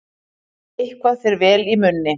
Eitthvað fer vel í munni